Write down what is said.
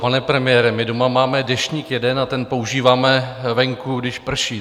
Pane premiére, my doma máme deštník jeden a ten používáme venku, když prší.